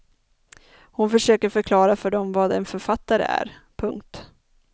Han försöker förklara för dem vad en författare är. punkt